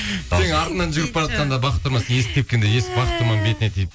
сенің артынан жүгіріп баратқанда бақыт тұрман сен есікті тепкенде есік бақыт тұрманның бетіне тиіп